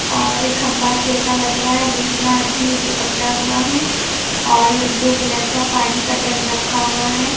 और एक खंबा से ऐसा लग रहा है दूसरा आदमी उसे पकड़ा हुआ है और ब्लू कलर का पानी का ड्रम रखा हुआ है।